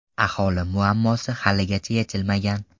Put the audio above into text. Aholi muammosi haligacha yechilmagan.